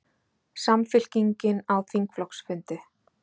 Samfylkingin á þingflokksfundi